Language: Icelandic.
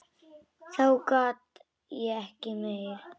Þá gat ég ekki meir.